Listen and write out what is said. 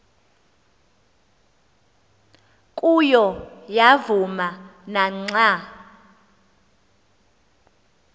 kuyo yavuma naxa